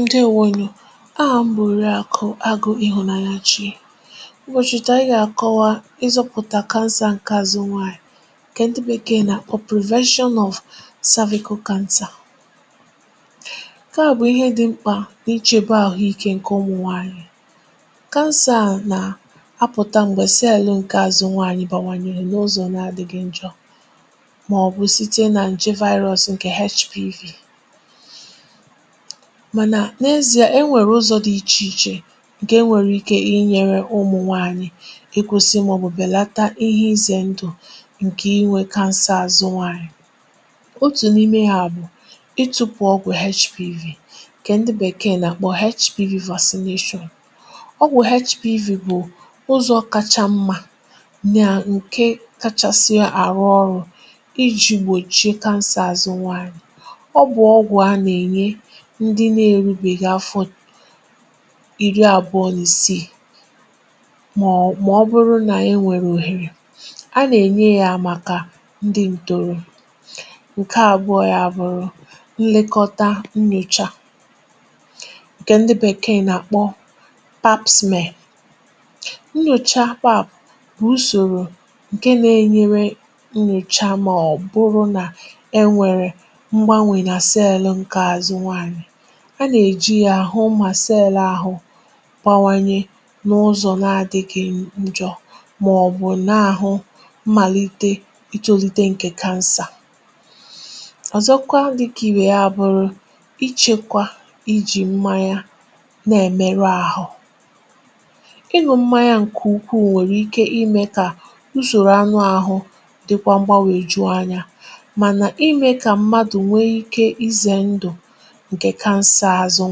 ǸDèewonù. Ahà m̀ bụ̀rù Òrìàkụ̀ Àgụ̀ Ịhụ̀nànyà Chì M̀gbọ̀chụ̀tà. Ànyị̀ gà-àkọwa ìzùpụ̀tà Cancer ǹkè Àzụ̀ Nwaanyị̀, ǹkè ndị Bèkèè nà-àkpọ̀ Prevention of Cervical Cancer. Ǹtà nke à bụ̀ ihe dị̀ mkpà n’ìchè bàà àhụ̀íkè ǹkè ụmụ̀ nwaànyị̀. Cancer à nà-apụta m̀gbè sị elu̇ ǹkè Àzụ̀ Nwaanyị̀ bànwànyèrè n’ụzọ̀ n’adịgị̇ ǹjọ̀ màọ̀bụ̀ site nà ǹchè Virus ǹkè HPV. Mànà n’ezi, e nwèrè ụzọ̇ dị iche iche ǹkè e nwèrè ike inyèrè ụmụ̀ nwaànyị̀ ị kwụsị màọ̀bụ̀ bèlata ihe ịzè ndụ̀ ǹkè inwè Cancer Àzụ̀ Nwaanyị̀. Ọ̀tụ̀ n’ime hȧ bụ̀ ịtụpụ̀ ọgwụ̀ HPV kè ndị Bèkèè nà-àkpọ̀ HPV Vaccination. Ọgwụ̀ HPV bụ̀ ụzọ̀ kacha mmȧ nà ǹkè kachasịa àrụ́ ọrụ̇ iji̇ gbòchie Cancer Àzụ̀ Nwaanyị̀. Ndị na-eru bè ehì afọ̀ ìrì àbụọ̀ n’ìsìì màọ̀bụ̀rù nà e nwèrè òhèrè a nà-ènye yà màkà ndị ǹtòrò. Ǹkè àbụọ̇ ya àbụrụ nnyòcha Pap Smear. Nnyòcha Pap bụ̀ ùsòrò ǹkè nà-enyere nnyòcha màọ̀bụ̀rù nà e nwèrè a nà-èjì yà àhụ̀ mà Cell ahụ̇ gbawànyè n’ụzọ̀ n’adịgị̇ ǹjọ̀ màọ̀bụ̀ na-àhụ̀ mmàlite ịtụlite ǹkè Cancer. Ọ̀zọ̀kwa, dịkà ì bè yà, bụ̀rị̀ ichekwa ijì mmanya — n’ihi nà ịnụ̇ mmanya ǹkè ùkwùù nwèrè ike imè kà ùsòrò anụ̀ ahụ̇ dịkwa mgbanwè, jụọ ànyà. Mànà imè kà mmadụ̀ nwee ike ịzè ǹdù ǹkè Cancer Àzụ̀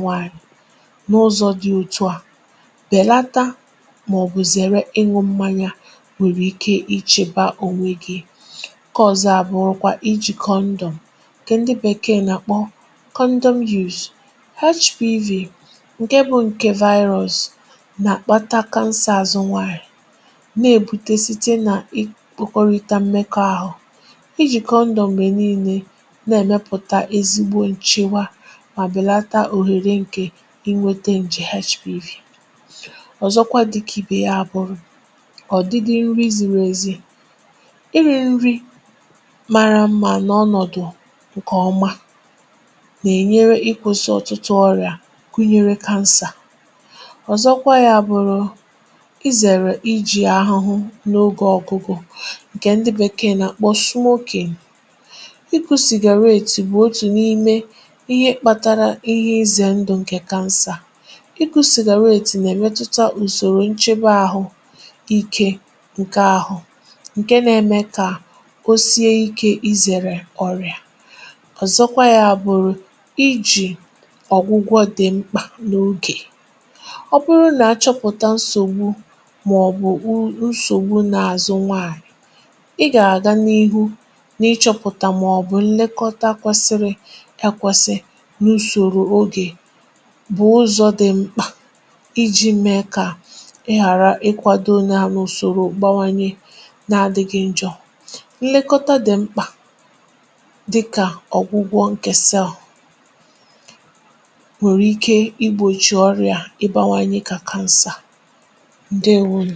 Nwaanyị̀ n’ụzọ̇ dị otu a bèlata màọ̀bụ̀ zèrè ọnwụ̇. Mmanya bùrù ike ichèbà ònwè gị, ǹkè ọ̀zọ̀ àbụọ̀kwa bụ̀ iji̇ Condọm — ǹkè ndị Bèkèè nà-àkpọ̀ Condom Use. Ọgwụ̀ HPV Virus ǹkè nà-àkpàtà kansà Àzụ̀ Nwaanyị̀ nà-èbùtè site nà ịkpọkọrịtà mmekọ̀ àhụ̇, n’ihi yà, iji̇ Condọm gbè niile nà-èmepụ̀tà ezigbo ǹchèwà inwète ǹjè HPV. Ọ̀zọ̀kwa, dịkà ibè yà, bụ̀rị̀ iri̇ nri̇ mara mmȧ — n’ọnọ̀dụ̀ ǹkè ọmà, nà-ènyere ịkwụ̇sị ọ̀tụtụ ọrịa, gụnyere Cancer. Ọ̀zọ̀kwa, ya bụ̀rị̀ izèrè iji̇ àhụhụ n’ogè ọ̀gụgụ — ǹkè ndị Bèkèè nà-àkpọ̀ Smoking. Ịkụ̀ Cigarettes bụ̀ otu n’ime ihe nà-èwetà ùsòrò nchebe ahụ̇ ike ǹkè ahụ̇, ǹkè nà-èmè kà o sie ikè izèrè ọrịa. Ọ̀zọ̀kwa, ya bụ̀rị̀ ijì ọ̀gwụgwọ dị̀ mkpà n’ogè — ọ bụrụ nà achọpụ̀tà nsògbu màọ̀bụ̀ nsògbu n’àzụ̀ Nwaànyị̀. Ị gà-àga n’ihu nà ịchọpụ̀tà màọ̀bụ̀ nlekọta akwàsịrị. Ǹkè à bụ̀ ụzọ̇ dị mkpà iji̇ mee kà ị ghàrà ịkwàdò ole à n’ùsòrò gbàwànyè n’adịgị̇ ǹjọ̀. Nlekọta dị̀ mkpà dịkà ọ̀gwụ̀gwọ ǹkè Cell wèrè ike igbochi ọrịa ibàwànyè kà Cancer. ǸDèewonù.